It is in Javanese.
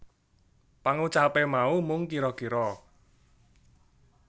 Pangucape mau mung kira kira